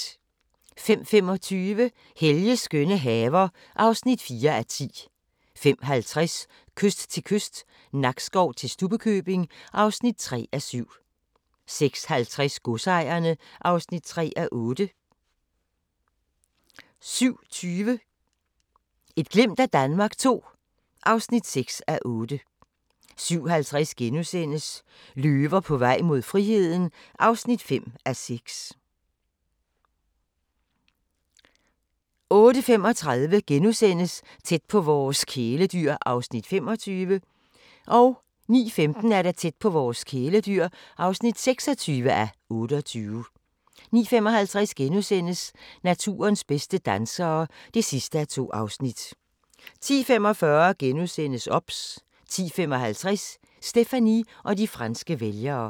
05:25: Helges skønne haver (4:10) 05:50: Kyst til kyst – Nakskov til Stubbekøbing (3:7) 06:50: Godsejerne (3:8) 07:20: Et glimt af Danmark II (6:8) 07:50: Løver på vej mod friheden (5:6)* 08:35: Tæt på vores kæledyr (25:28)* 09:15: Tæt på vores kæledyr (26:28) 09:55: Naturens bedste dansere (2:2)* 10:45: OBS * 10:55: Stéphanie og de franske vælgere